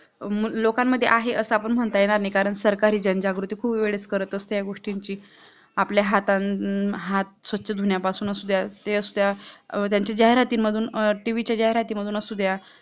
मग लोकांमध्ये आहे असं आपण म्हणता येणार नाही, कारण सरकारी जनजागृती पूर्व वेळेस करत असते या गोष्टींची आपला हातान, हात स्वच्छ धूवण्यापासून असू द्या, ते असू द्या, त्यांच्या जाहिरातीमधून tv चे जाहिरातीमधून असू द्या